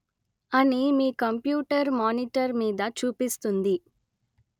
అని మీ computer monitor మీద చూపిస్తుంది